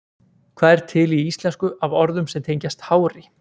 Hvað er til í íslensku af orðum sem tengjast hári?